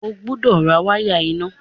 O gbúdọ̀ ra wáyà iná!